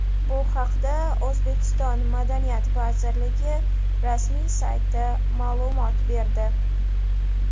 Bu haqda O‘zbekiston madaniyat vazirligi rasmiy sayti ma’lumot berdi .